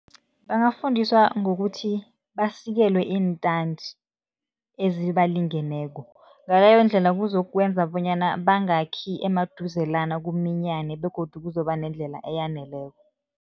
Bangafundiswa ngokuthi basikelwe iintandi ezibalingeneko, ngaleyo ndlela kuzokwenza bonyana bangakhi emaduzelana, kuminyane begodu kuzoba nendlela eyaneleko.